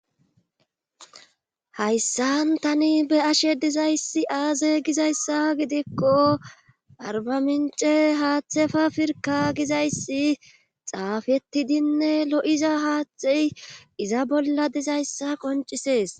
Hayssan tani be ashe dizayssi aaze gizayssa gidikko arbamince haaththefa firka gizayssi xaafetidinne lo7iza haathtey iza bolla dizayssa qoncisees.